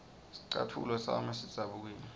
scatfulo sami sidzabukile